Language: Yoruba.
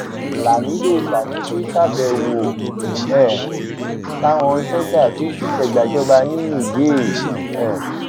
lámìdo sanusi ṣàbẹwò um sáwọn sójà tó dìtẹgbàjọba ní niger um